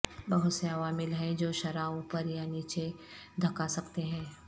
بہت سے عوامل ہیں جو شرح اوپر یا نیچے دھکا سکتے ہیں